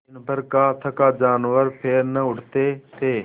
दिनभर का थका जानवर पैर न उठते थे